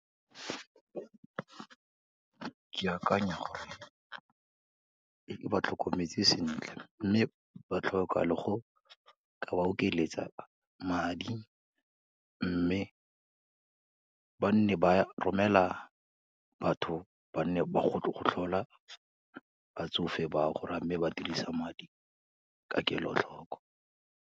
Ke akanya gore, e ba tlhokometse sentle, mme batlhoka le go ka ba okeletsa madi mme ba nne ba romela batho ba nne ba go tlhola batsofe ba o, gore amme ba dirisa madi ka kelotlhoko.